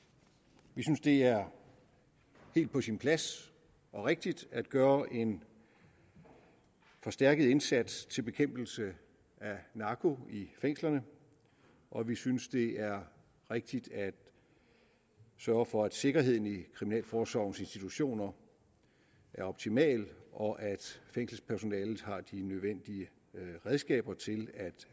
vi synes at det er helt på sin plads og rigtigt at gøre en forstærket indsats til bekæmpelse af narko i fængslerne og vi synes at det er rigtigt at sørge for at sikkerheden i kriminalforsorgens institutioner er optimal og at fængselspersonalet har de nødvendige redskaber til at